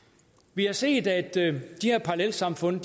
vi har set at de her parallelsamfund